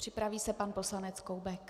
Připraví se pan poslanec Koubek.